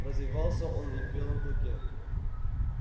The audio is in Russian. развивался он и в белом клыке